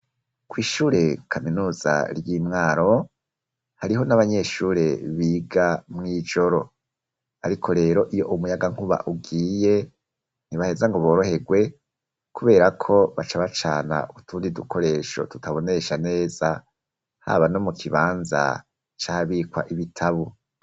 Kw'ishure kaminuza ry'i Mwaro, hariho n'abanyeshure biga mw'ijoro. Ariko rero iyo umuyagankuba ugiye, ntibaheza ngo boroherwe kubera ko baca bacana utundi dukoresho tutabonesha neza, haba no mu kibanza c'ahabikwa ibitabo.